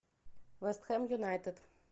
вест хэм юнайтед